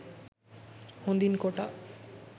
හොඳින් කොටා